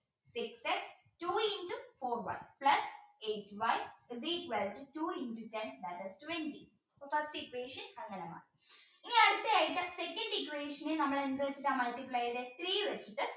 six x two into four y plus eight y is equal to two into ten minus twenty so first equation അങ്ങനെ മാറി ഇനി അടുത്ത ആയിട്ട് second equation നമ്മൾ എന്ത് വച്ചിട്ടാ multiply ചെയ്തത് three വെച്ചിട്ട്